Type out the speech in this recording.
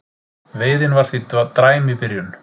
Veiðin var því dræm í byrjun